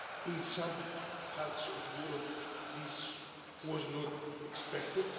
In some parts of Europe, this was not expected.